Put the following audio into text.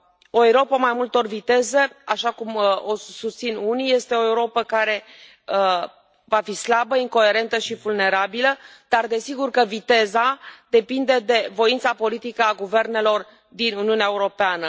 O Europă a mai multor viteze, așa cum o susțin unii, este o Europă care va fi slabă, incoerentă și vulnerabilă, dar desigur că viteza depinde de voința politică a guvernelor din Uniunea Europeană.